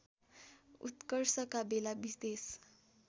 उत्कर्षका बेला विदेश